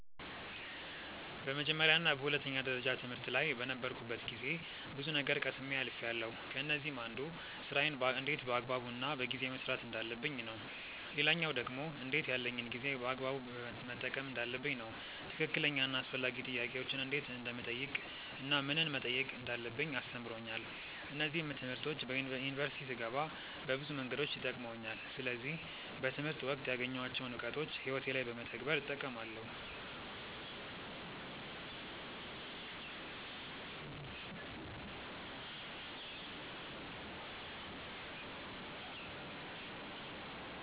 በመጀመርያ እና በሁለተኛ ደረጃ ትምህርት ላይ በነበርኩበት ጊዜ ብዙ ነገር ቀስሜ አልፍያለው። ከነዚህም አንዱ ስራዬን እንዴት በአግባቡ እና በጊዜ መስራት እንዳለብኝ ነው። ሌላኛው ደግሞ እንዴት ያለኝን ጊዜ በአግባቡ መጠቀም እንዳለብኝ ነው። ትክክለኛ እና አስፈላጊ ጥያቄዎችን እንዴት እንደምጠይቅ እናም ምንን መጠየቅ እንዳለብኝ አስተምሮኛል። እነዚህም ትምህርቶች ዩኒቨርሲቲ ስገባ በብዙ መንገዶች ጠቅመውኛል። ስለዚህ በትምህርት ወቅት ያገኘኋቸውን እውቀቶች ህይወቴ ላይ በመተግበር እጠቀማለው።